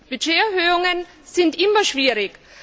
Budgeterhöhungen sind immer schwierig.